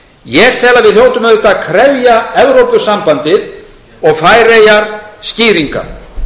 ég tel að við hljótum auðvitað að krefja evrópusambandið og færeyjar skýringa